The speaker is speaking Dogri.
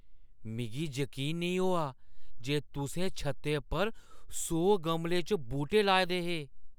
मिगी यकीन नेईं होआ जे तुसें छत्तै उप्पर सौ गमलें च बूह्‌टे लाए दे हे।